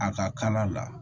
A ka kala la